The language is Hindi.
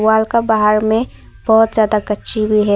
वाल का बाहर में बहुत ज्यादा कच्ची भी है।